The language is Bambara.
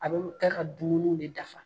A bɛ kɛ ka dumuni de dafa.